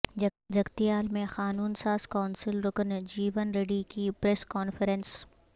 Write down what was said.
جگتیال میں قانون ساز کونسل رکن جیون ریڈی کی پریس کانفرنس